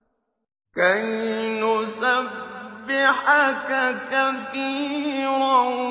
كَيْ نُسَبِّحَكَ كَثِيرًا